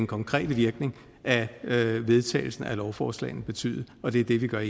konkrete virkning af vedtagelsen af lovforslaget vil betyde og det er det vi gør